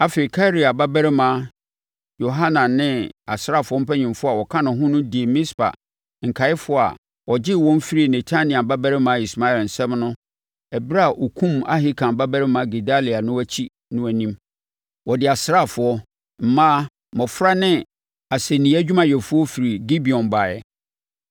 Afei, Karea babarima Yohanan ne asraafoɔ mpanimfoɔ a wɔka ne ho no dii Mispa nkaeɛfoɔ a ɔgyee wɔn firii Netania babarima Ismael nsam ɛberɛ a ɔkumm Ahikam babarima Gedalia no akyi no anim: Ɔde asraafoɔ, mmaa, mmɔfra ne asɛnniiɛ adwumayɛfoɔ firi Gibeon baeɛ.